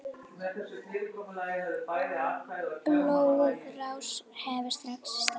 Blóðrás heftir strax í stað.